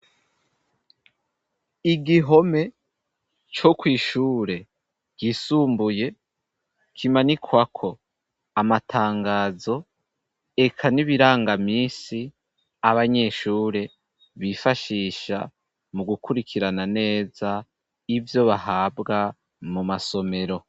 Igihome co kw'ishure ryisumbuye kimanikwa ko amatangazo eka n'ibirangamisi abanyeshure bifashisha mu gukurikirana neza ivyo bahabwa mu masomero.